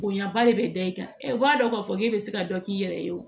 Bonyaba de bɛ da i kan u b'a dɔn k'a fɔ k'e bɛ se ka dɔ k'i yɛrɛ ye o